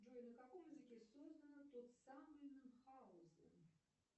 джой на каком языке создано тот самый мюнхгаузен